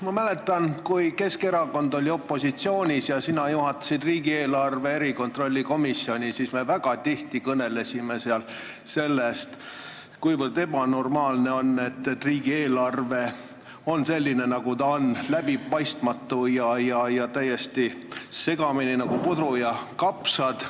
Ma mäletan, kui Keskerakond oli opositsioonis ja sina juhatasid riigieelarve kontrolli erikomisjoni, siis me seal väga tihti kõnelesime sellest, kuivõrd ebanormaalne on see, et riigieelarve on selline, nagu ta on – läbipaistmatu ja täiesti segamini nagu puder ja kapsad.